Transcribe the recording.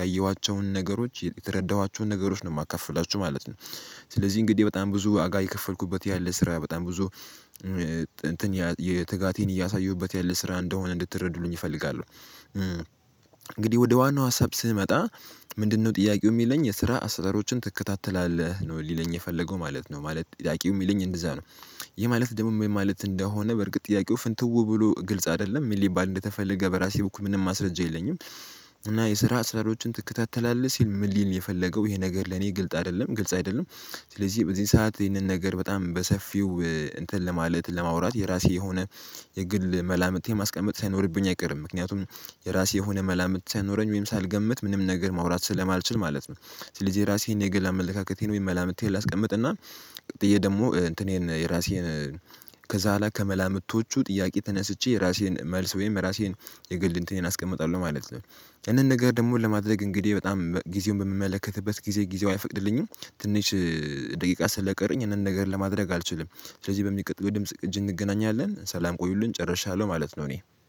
ያየኋቸውን ነገሮች የተረዳኋቸውን ነገሮች ነው የማትከፍላችሁ ማለት ነው። ስለዚህ እንግዲህ በጣም ብዙ ዋጋ የከፈልኩበት ያለ ስራ በጣም ብዙ እንትን የትጋቴን እያሳየሁበት ያለ ስራ እንደሆነ እንድትረዱሉኝ እፈልጋለሁ። እንግዲህ ወደ ዋናው ሀሳብ ስመጣ ምንድነው ጥያቄው የሚለኝ የስራ አሰራሮችን ትከታተላለህ ነው ሊለኝ የፈለገው ማለት ነው ማለት ጥያቄው የሚለኝ እንደዛ ነው። ይሄ ማለት ደሞ ማለት እንደሆነ በርግጥ ጥያቄው ፍንትው ብሎ ግልጽ አይደለም ምን ሊባል እንደተፈለገ በራሴ በኩል ምንም ማስረጃ የለኝም። እና የስራ ስራዎችን ትከታተላለህ ሲል ምን ሊል የፈለገው ይሄ ነገር ለኔ ግልጽ አይደለም ግልጽ አይደለም። ስለዚህ በዚህ ሰዓት ይሄንን ነገር በጣም በሰፊው እንትን ለማለት ለማውራት የራሴ የሆነ የግል መላምቴ ማስቀመጥ ሳይኖርብኝ አይቀርም ምክንያቱም የራሴ የሆነ መላምት ሳይኖረኝ ወይም ሳልገምት ምንም ነገር ማውራት ስለማልችል ማለት ነው። ስለዚህ የራሴን የግል አመለካከቴን ወይም መላምንቴን ላስቀምጥና ብዬ ደግሞ እንትኔን የራሴን ከዛ ላይ ከመላምቶቹ ጥያቄ ተነስቼ የራሴን መልስ ወይም ራሴን የግል እንትኔን አስቀምጣለሁ ማለት ነው። ይሄንን ነገር ደግሞ ለማድረግ እንግዲህ በጣም ጊዜውን በምመለከትበት ጊዜ ጊዜው አይፈቅድልኝም። ትንሽ ደቂቃ ስለቀረኝ እንደን ነገር ለማድረግ አልችልም። ስለዚህ በሚቀጥለው ድምጽ ቅጅ እንገናኛለን ሰላም ቆዩልን ጨርሻለሁ ማለት ነው። እኔ